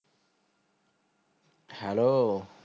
hello